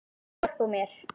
Viltu hjálpa mér?